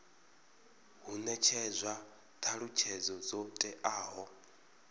hu netshedzwa thalutshedzo dzo teaho